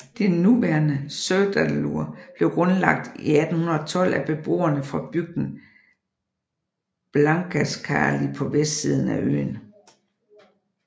Det nuværende Syðradalur blev grundlagt i 1812 af beboere fra bygden Blankaskáli på vestsiden af øen